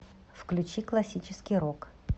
включи классический рок